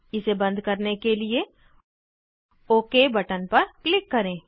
इसे बंद करने के लिए ओक बटन पर क्लिक करें